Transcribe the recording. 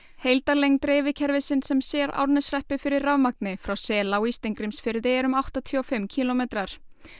heildarlengd dreifikerfisins sem sér Árneshreppi fyrir rafmagni frá Selá í Steingrímsfirði er um áttatíu og fimm kílómetrar